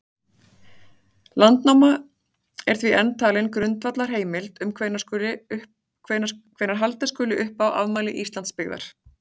Landnáma er því enn talin grundvallarheimild um hvenær halda skuli upp á afmæli Íslandsbyggðar.